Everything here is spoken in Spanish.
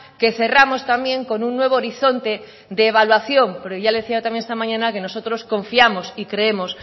que cerramos también con un nuevo horizonte de evaluación pero ya le decía también esta mañana que nosotros confiamos y creemos